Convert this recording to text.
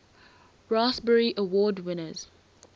raspberry award winners